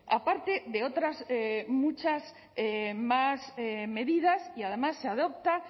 aparte de otras muchas más medidas y además se adopta